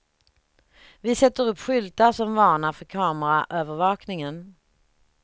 Vi sätter upp skyltar som varnar för kameraövervakningen.